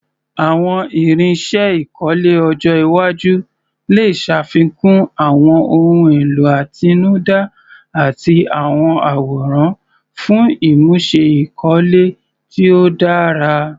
Àwọn irinṣẹ́ ìkọ́lé ọjọ́ iwájú lè ṣàfikún àwọn ohun èlò àtinúdá àti àwọn àwòrán fún ìmúṣe ìkọ́lé tí ó dára.